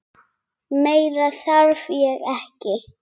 Meira þarf ég ekki.